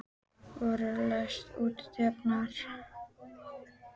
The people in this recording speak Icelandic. Veróna, læstu útidyrunum.